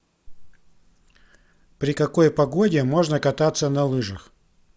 при какой погоде можно кататься на лыжах